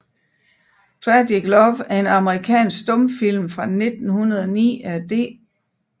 Tragic Love er en amerikansk stumfilm fra 1909 af D